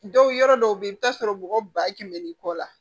Dɔw yɔrɔ dɔw bɛ yen i bɛ t'a sɔrɔ mɔgɔ ba kɛmɛ ni kɔ la